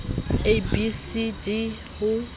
a b c d ho